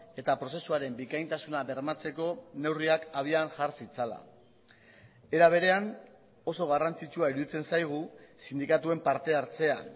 eta prozesuaren bikaintasuna bermatzeko neurriak abian jar zitzala era berean oso garrantzitsua iruditzen zaigu sindikatuen parte hartzea